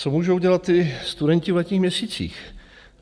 Co můžou dělat ti studenti v letních měsících?